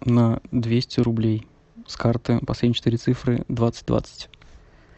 на двести рублей с карты последние четыре цифры двадцать двадцать